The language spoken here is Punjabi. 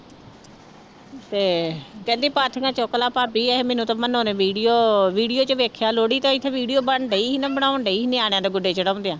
ਤੇ ਕਹਿੰਦੀ ਪਾਥੀਆਂ ਚੁੱਕ ਲਾ ਭਾਬੀ ਇਹ ਮੈਨੂੰ ਤਾਂ ਮਨੋ ਨੇ video, video ਚ ਵੇਖਿਆ ਲੋਹੜੀ ਤੇ ਇੱਥੇ video ਬਣ ਰਹੀ ਸੀ ਮੈਂ ਬਣਾਉਣ ਡਈ ਸੀ ਨਿਆਣਿਆਂ ਦੇ ਗੁੱਡੇ ਚੜ੍ਹਾਉਂਦਿਆਂ।